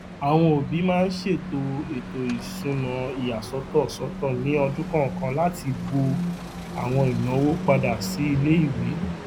àwọn òbí maa n ṣètò ètò ìsúná ìyàsọtọ sọtọ ní ọdún kọọkan láti bo àwọn ìnáwó padà sí iléìwé